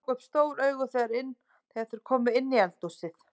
Þeir ráku upp stór augu þegar þeir komu inn í eldhúsið.